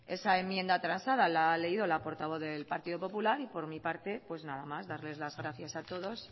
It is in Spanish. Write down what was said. esa enmienda transada la ha leído la portavoz del partido popular y por mi parte pues nada más darles las gracias a todos